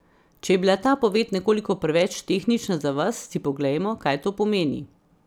Če je bila ta poved nekoliko preveč tehnična za vas, si poglejmo, kaj to pomeni.